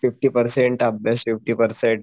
fifty percent अभ्यास fifty percent